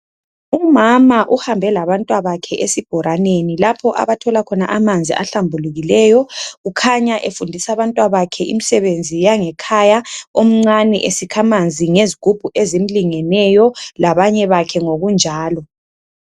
Umama uhambe labantwabakhe ezibhoraneni lapho abathola khona amanzi ahlambulukileyo kukhanya efundisa abantwabakhe imisebenzi yangekhaya omncane esikha amanzi ngezigubhu ezimlingeneyo labanye bakhe ngokunjalo.